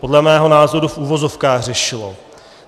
Podle mého názoru v uvozovkách řešilo.